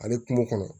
Ale kungo kɔnɔ